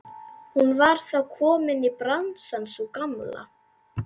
Hún var þá komin í bransann sú gamla!